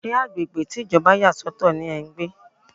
Ṣé agbègbè tí Ìjọba yà sọ̀tọ̀ ní ẹ́ ń gbé?